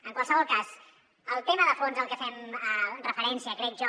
en qualsevol cas el tema de fons al que fem referència crec jo